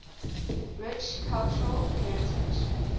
rich cultural heritage